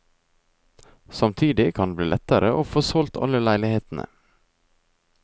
Samtidig kan det bli lettere å få solgt alle leilighetene.